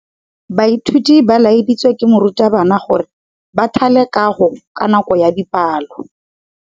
Baithuti ba laeditswe ke morutabana gore ba thale kagô ka nako ya dipalô.